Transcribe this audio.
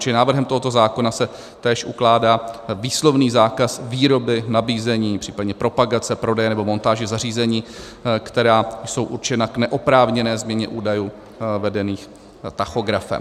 Čili návrhem tohoto zákona se též ukládá výslovný zákaz výroby, nabízení, případně propagace, prodeje nebo montáže zařízení, která jsou určena k neoprávněné změně údajů vedených tachografem.